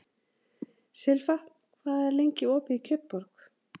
Silfa, hvað er lengi opið í Kjötborg?